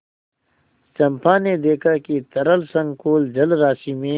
चंपा ने देखा कि तरल संकुल जलराशि में